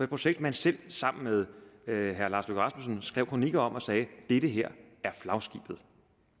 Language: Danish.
projekt man selv sammen med herre lars løkke rasmussen skrev kronikker om og sagde det det her er flagskibet